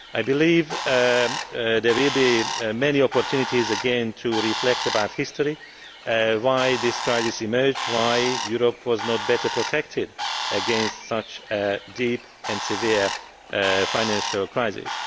I believe that there will be many opportunities again to reflect on history, on why this crisis emerged, and on why Europe was not better protected against such a deep and severe financial crisis.